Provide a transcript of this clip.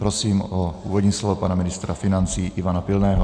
Prosím o úvodní slovo pana ministra financí Ivana Pilného.